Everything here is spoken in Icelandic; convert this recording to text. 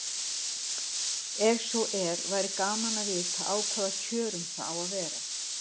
Ef svo er væri gaman að vita á hvaða kjörum það á að vera.